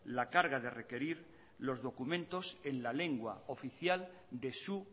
la carga de requerir los documentos en la lengua oficial de su